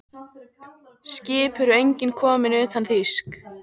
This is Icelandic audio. Skip eru engin komin utan þýsk.